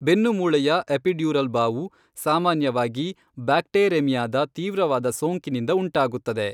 ಬೆನ್ನುಮೂಳೆಯ epidural ಬಾವು ಸಾಮಾನ್ಯವಾಗಿ ಬ್ಯಾಕ್ಟೇರೆಮಿಯಾದ ತೀವ್ರವಾದ ಸೋಂಕಿನಿಂದ ಉಂಟಾಗುತ್ತದೆ.